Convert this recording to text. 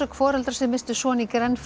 foreldra sem misstu son í